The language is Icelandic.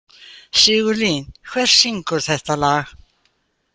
Sigurlín, hver syngur þetta lag?